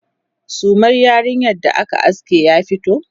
sumar yarinyar da aka aske ya fito?